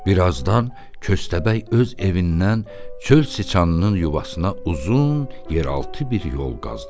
Bir azdan köstəbək öz evindən çöl çıçanının yuvasına uzun yeraltı bir yol qazdı.